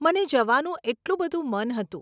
મને જવાનું એટલું બધું મન હતું.